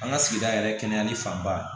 An ka sigida yɛrɛ kɛnɛyali fanba